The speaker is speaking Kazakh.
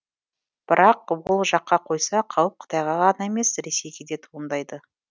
бірақ ол жаққа қойса қауіп қытайға ғана емес ресейге де туындайды